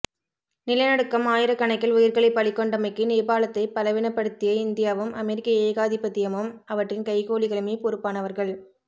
நில நடுக்கம் ஆயிரக் கணக்கில் உயிர்களைப் பலி கொண்டமைக்கு நேபாளத்தைப் பலவினப்படுத்திய இந்தியாவும் அமெரிக்க ஏகாதிபதியமும் அவற்றின் கைக்கூலிகளுமே பொறுப்பானவர்கள்